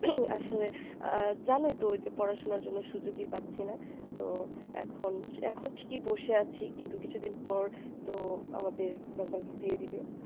আসলে জানোইতো যে পড়াশোনার জন্যে সুযোগই পাচ্ছিনা তো এখন এখন ঠিকই বসে আছি কিন্তু কিছু দিন পর তো আমাদের result দিয়ে দিবে